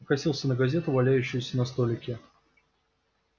покосился на газету валяющуюся на столике